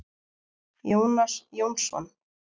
Jónas Jónsson.